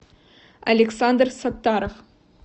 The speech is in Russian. александр саттаров